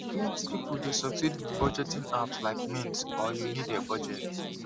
plenty people dey succeed with budgeting apps like mint or you need a budget